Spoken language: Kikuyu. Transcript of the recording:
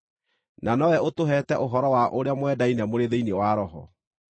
na nowe ũtũheete ũhoro wa ũrĩa mwendaine mũrĩ thĩinĩ wa Roho.